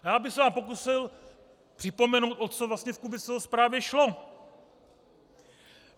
Já bych se vám pokusil připomenout, o co vlastně v Kubiceho zprávě šlo.